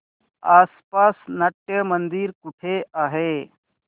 आसपास नाट्यमंदिर कुठे आहे